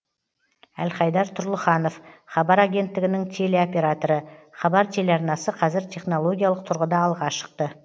әлхайдар тұрлыханов хабар агенттігінің телеоператоры хабар телеарнасы қазір технологиялық тұрғыда алға шықты